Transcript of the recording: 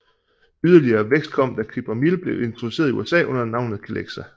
Yderligere vækst kom da Cipramil blev introduceret i USA under navnet Celexa